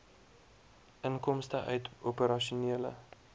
inkomste uit operasionele